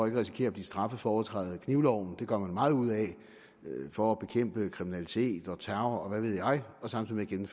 at risikere at blive straffet for overtrædelse af knivloven det gør vi meget ud af for at bekæmpe kriminalitet og terror og hvad ved jeg og samtidig med